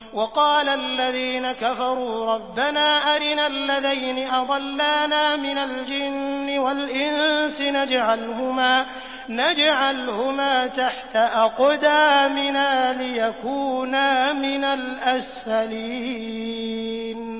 وَقَالَ الَّذِينَ كَفَرُوا رَبَّنَا أَرِنَا اللَّذَيْنِ أَضَلَّانَا مِنَ الْجِنِّ وَالْإِنسِ نَجْعَلْهُمَا تَحْتَ أَقْدَامِنَا لِيَكُونَا مِنَ الْأَسْفَلِينَ